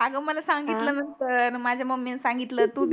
अग मला सांगितलं नंतर न माझ्या mummy ने सांगितलं तू